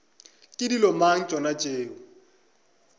ke dilo mang tšona tšeo